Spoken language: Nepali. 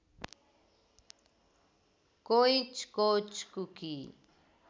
कोइँच कोच कुकी